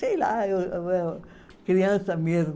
Sei lá, eu eh criança mesmo.